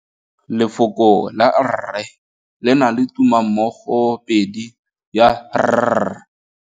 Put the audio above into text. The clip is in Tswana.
Lefoko la rre le na le tumammogôpedi ya, r.